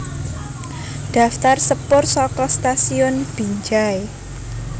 Daftar sepur saka Stasiun Binjai